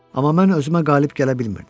Amma mən özümə qalib gələ bilmirdim.